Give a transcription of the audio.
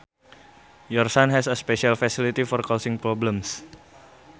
Your son has a special facility for causing problems